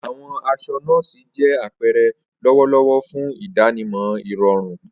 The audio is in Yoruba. Awọn aṣọ nọ́ọ̀sí jẹ apẹrẹ lọwọlọwọ fun idanimọ irọrun.